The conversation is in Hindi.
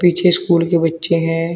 पीछे स्कूल के बच्चे हैं।